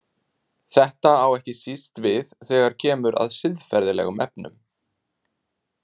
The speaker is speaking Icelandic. Þetta á ekki síst við þegar kemur að siðferðilegum efnum.